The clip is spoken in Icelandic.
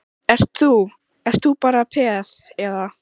Ert þú, ert þú bara peð, eða?